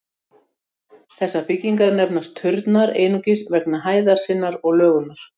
Þessar byggingar nefnast turnar einungis vegna hæðar sinnar og lögunar.